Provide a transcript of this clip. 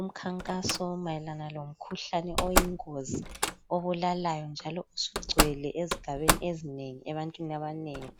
Umkhankaso mayelana lomkhuhlane oyingozi obulalayo njalo osugcwele ezigabeni ezinengi ebantwini abanengi.